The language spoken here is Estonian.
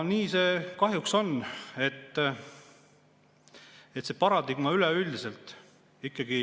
Nii see kahjuks on, see paradigma ikkagi üleüldiselt.